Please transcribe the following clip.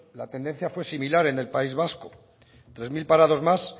la tendencia fue similar en el país vasco tres mil parados más